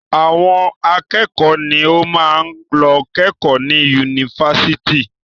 Àwọn akẹ́kọ̀ọ́ ni ó máa ń lọ kẹ́kọ̀ọ́ ní yunifásitì.